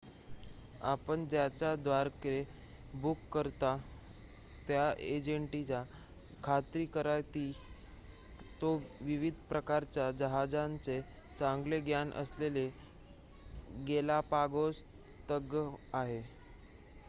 आपण ज्याच्याद्वारे बुक करता त्या एजंटची खात्री करा की तो विविध प्रकारचे जहाजांचे चांगले ज्ञान असलेले गॅलापागोस तज्ञ आहे